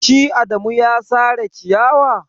Shi adamu ya sare ciyawar.